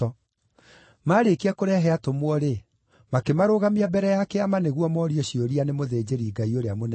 Maarĩkia kũrehe atũmwo-rĩ, makĩmarũgamia mbere ya Kĩama nĩguo morio ciũria nĩ mũthĩnjĩri-Ngai ũrĩa mũnene.